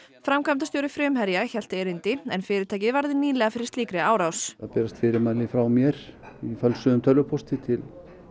framkvæmdastjóri Frumherja hélt erindi en fyrirtækið varð nýlega fyrir slíkri árás það berast fyrirmæli frá mér í fölsuðum tölvupósti til